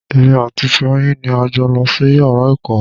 Èmi àti Fèyí ni a jọ lọ sí yàrá ìkàwé.